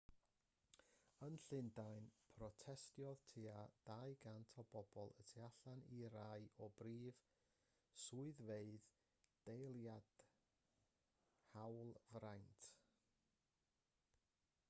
yn llundain protestiodd tua 200 o bobl y tu allan i rai o brif swyddfeydd deiliaid hawlfraint